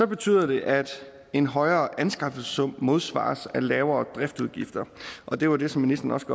betyder det at en højere anskaffelsessum modsvares af lavere driftsudgifter og det var det som ministeren også